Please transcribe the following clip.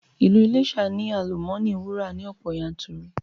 Ilu Iléṣà ni àlùmọ́nì wúrà ni ọ̀pọ̀ yanturu